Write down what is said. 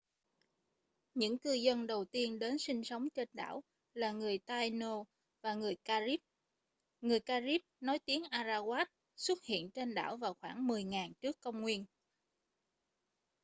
những cư dân đầu tiên đến sinh sống trên đảo là người taíno và người carib người carib nói tiếng arawak xuất hiện trên đảo vào khoảng 10.000 trước công nguyên